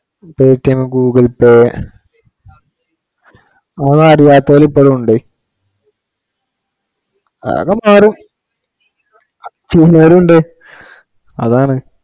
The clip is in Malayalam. PayTM Google Pay അതറിയാത്തൊരു ഇപ്പോഴും ഉണ്ട്. അതെന്തായാലും ചെയ്യണോരും ഉണ്ട്. അതാണ്